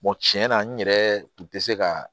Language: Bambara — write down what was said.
tiɲɛ na n yɛrɛ tun tɛ se ka